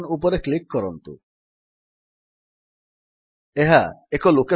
dialog ବକ୍ସର ଉପର ବାମ କୋଣରେ ଥିବା ଟାଇପ୍ ଏ ଫାଇଲ୍ ନେମ୍ ନାମକ ଛୋଟ ପେନସିଲ୍ ବଟନ୍ ଉପରେ କ୍ଲିକ୍ କରନ୍ତୁ